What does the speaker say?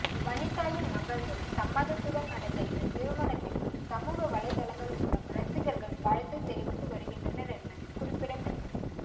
வனிதாவின் மகள்கள் சம்மதத்துடன் நடந்த இந்த திருமணத்திற்கு சமூக வலைதளங்கள் மூலம் ரசிகர்கள் வாழ்த்து தெரிவித்து வருகின்றனர் என்பது குறிப்பிடத்தக்கது